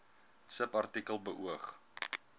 subartikel beoog